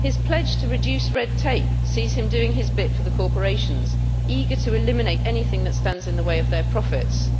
His pledge to reduce red tape sees him doing his bit for the corporations eager to eliminate anything that stands in the way of their profits.